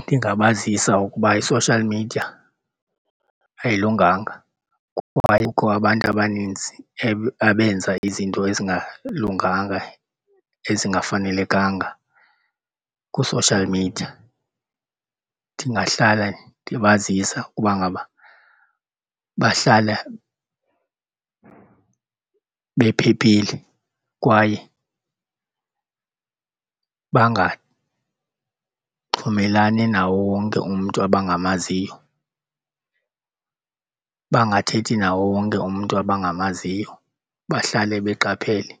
Ndingabazisa ukuba i-social media ayilunganga kuba kukho abantu abaninzi abenza izinto ezingalunganga ezingafanelekanga ku-social media. Ndingahlala ndibazisa ukuba ngaba bahlala bephephile kwaye bangaxhumelani nawo wonke umntu abangamaziyo, bangathethi nawo wonke umntu abangamaziyo, bahlale beqaphele